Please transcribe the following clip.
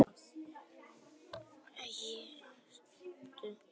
Ég tapaði peningunum mínum og hef tekið hræðilegar ákvarðanir.